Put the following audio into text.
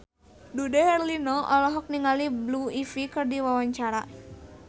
Dude Herlino olohok ningali Blue Ivy keur diwawancara